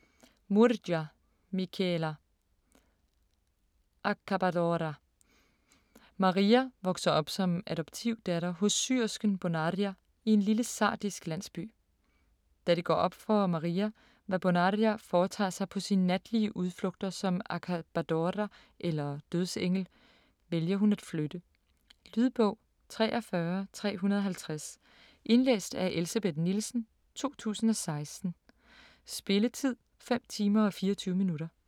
Murgia, Michela: Accabadora Maria vokser op som adoptivdatter hos syersken Bonaria i en lille sardisk landsby. Da det går op for Maria, hvad Bonaria foretager sig på sine natlige udflugter som accabadora eller dødsengel, vælger hun at flytte. Lydbog 43350 Indlæst af Elsebeth Nielsen, 2016. Spilletid: 5 timer, 24 minutter.